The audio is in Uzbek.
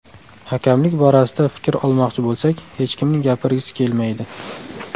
Hakamlik borasida fikr olmoqchi bo‘lsak, hech kimning gapirgisi kelmaydi.